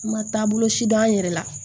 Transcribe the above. N ma taa bolo si dɔn yɛrɛ la